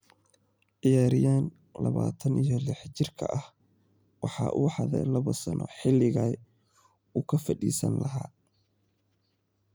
Ciyariyahan lawatan iyo lix jeerka ehe waxa uhadhe labo sano xiligey uukafadisanilah.